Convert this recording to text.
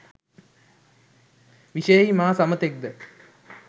විශයෙහි මා සමතෙක්ද?